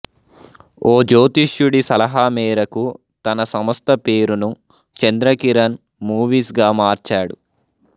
ఓ జ్యోతిష్యుడి సలహా మేరకు తన సంస్థ పేరును చంద్ర కిరణ్ మూవీస్ గా మార్చాడు